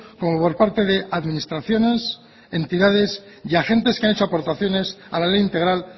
como por parte de administraciones entidades y agentes que han hecho aportaciones a la ley integral